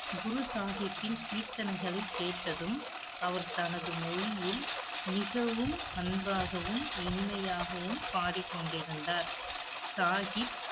குரு சாகிப்பின் கீர்த்தனைகளைக் கேட்டதும், அவர் தனது மொழியில், மிகவும் அன்பாகவும், இனிமையாகவும் பாடிக் கொண்டிருந்தார். சாகிப்